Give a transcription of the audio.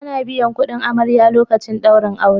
Ana biyan kudin amarya lokacin daurin aure